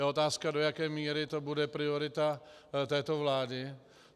Je otázka, do jaké míry to bude priorita této vlády.